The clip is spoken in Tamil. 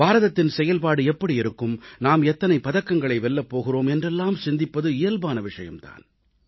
பாரதத்தின் செயல்பாடு எப்படி இருக்கும் நாம் எத்தனை பதக்கங்களை வெல்லப் போகிறோம் என்றெல்லாம் சிந்திப்பது இயல்பான விஷயம் தான்